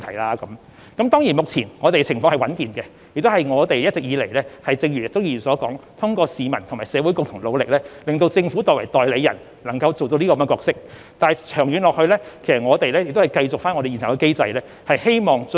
當然，香港現時的情況是穩健的，這正如鍾議員所說，是一直以來通過市民及社會的共同努力，才令政府作為代理人得以善盡其角色，但長遠來說，我們必須繼續奉行現有的機制。